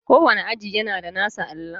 Kowane aji yana da nasa allon.